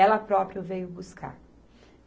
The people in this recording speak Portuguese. Ela própria veio buscar.